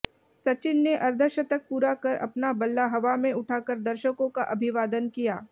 सचिन ने अर्धशतक पूरा कर अपना बल्ला हवा में उठा कर दर्शकों का अभिवादन किया